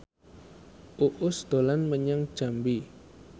Uus dolan menyang Jambi